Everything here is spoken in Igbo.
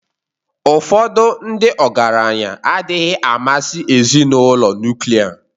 Ụfọdụ ndị ọgaranya adịghị amasị ezinụlọ nuklia